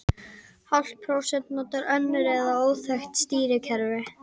Hálft prósent notar svo önnur eða óþekkt stýrikerfi.